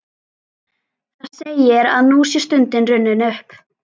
Það segir, að nú sé stundin runnin upp.